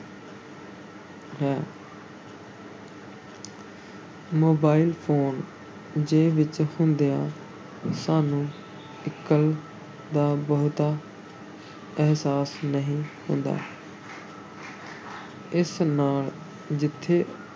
Mobile phone ਜੇਬ ਵਿੱਚ ਹੁੰਦਿਆਂ ਸਾਨੂੰ ਇਕੱਲ ਦਾ ਬਹੁਤਾ ਅਹਿਸਾਸ ਨਹੀਂ ਹੁੰਦਾ ਇਸ ਨਾਲ ਜਿੱਥੇ